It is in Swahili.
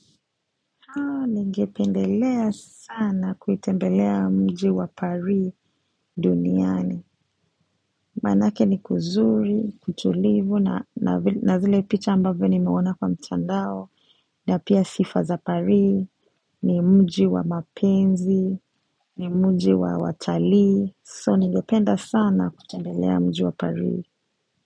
Ningependelea sana kutembelea mji wa pari duniani. Maanake ni kuzuri, kutulivu, na zile picha ambavyo nimeona kwa mtandao, na pia sifa za pari, ni mji wa mapenzi, ni mji wa watalii, so ningependa sana kutembelea mji wa pari.